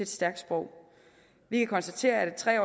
stærkt sprog vi kan konstatere at et tre